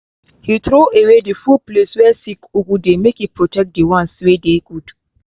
he throwaway the full place way sick ugu dey make e protect the ones wey dey good